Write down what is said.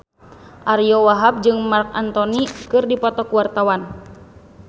Ariyo Wahab jeung Marc Anthony keur dipoto ku wartawan